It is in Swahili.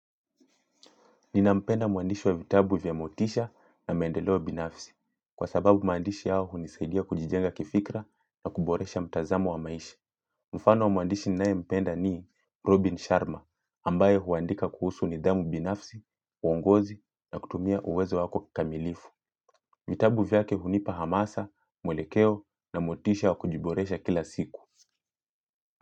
Nina mpenda muandishi wa vitabu vya motisha na maendeleobinafsi. Kwa sababu maandishi hayo hunisaidia kujijenga kifikra na kuboresha mtazamu wa maisha. Mfano wa muandishi ninae mpenda ni Robin Sharma, ambaye huandika kuhusu nidhamu binafsi, uongozi na kutumia uwezo wako kikamilifu. Vitabu vyake hunipa hamasa, mwelekeo na motisha wa kujiboresha kila siku.